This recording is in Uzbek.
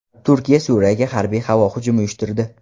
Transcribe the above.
Turkiya Suriyaga harbiy havo hujumi uyushtirdi.